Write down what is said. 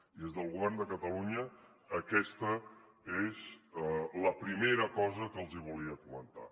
i des del govern de catalunya aquesta és la primera cosa que els volia comentar